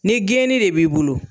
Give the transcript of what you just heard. Ni geeni de b'i bolo